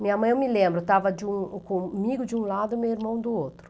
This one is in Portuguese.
Minha mãe, eu me lembro, estava de um, comigo de um lado e meu irmão do outro.